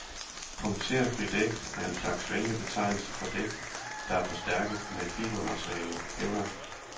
Punkterfri dæk er en slags venlig betegnelse for dæk, der er forstærket med fibermaterialet kevlar.